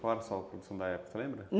Qual da época, lembra?